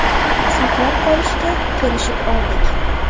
saqlab qolishga kelishib oldik.